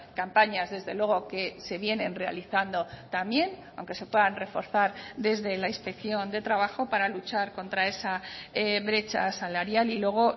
campañas desde luego que se vienen realizando también aunque se puedan reforzar desde la inspección de trabajo para luchar contra esa brecha salarial y luego